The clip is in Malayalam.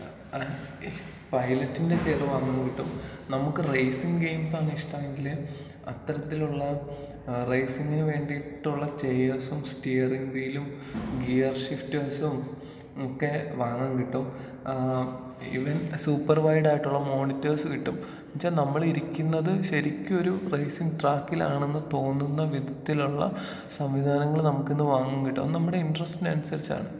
പൈലറ്റിന്റെ ചെയറ് വാങ്ങാൻ കിട്ടും. നമുക്ക് റൈസിങ് ഗെയിംസാണ് ഇഷ്ട്ടമെങ്കില് അത്തരത്തിലുള്ള ഏഹ് റൈസിങ്ങിന് വേണ്ടീട്ടുള്ള ചെയർസും സ്റ്റിയറിങ് വീലും ഗിയർ ഷിഫ്റ്റ് സും ഒക്കേ വാങ്ങാൻ കിട്ടും.ഏഹ് ഈവൻ സൂപ്പർ വൈഡ് ആയിട്ടുള്ള മോണിറ്റർസ് കിട്ടും എന്ന് വെച്ച നമ്മളിരിക്കുന്നത് ശെരിക്കും ഒരു റൈസിങ് ട്രക്കിലാണെന്ന് തോന്നുന്ന വിധത്തിലുള്ള സംവിധാനങ്ങള് നമുക്കിന്ന് വാങ്ങാൻ കിട്ടും.അത് നമ്മുടെ ഇൻഡ്രസ്റ്റിന് അനുസരിച്ചാണ്.